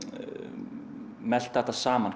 melta þetta saman